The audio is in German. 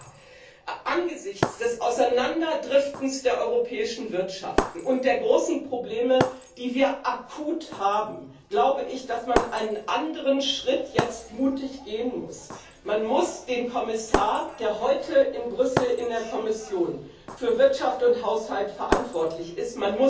Aber angesichts des Auseinanderdriftens der europäischen Wirtschaften und der großen Probleme, die wir akut haben, glaube ich, dass man einen anderen Schritt jetzt mutig gehen muss Man muss den Kommissar, der heute in Brüssel in der Kommission für Wirtschaft und Haushalt verantwortlich ist,